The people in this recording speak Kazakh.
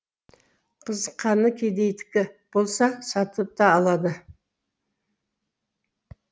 қызыққаны кедейдікі болса сатып та алады